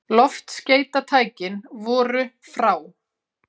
Loftskeytatækin voru frá